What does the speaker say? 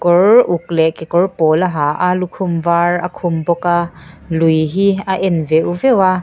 kawr uk leh kekawr pawl a ha a lukhum var a khum bawk a lui hi a en veuh veuh a--